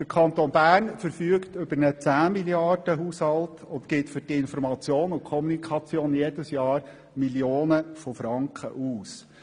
Der Kanton Bern verfügt über einen 10-Millionen-Haushalt und gibt für Information und Kommunikation jedes Jahr Millionen von Franken aus.